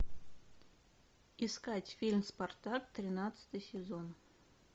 искать фильм спартак тринадцатый сезон